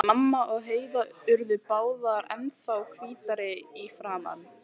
Mamma og Heiða urðu báðar ennþá hvítari í framan.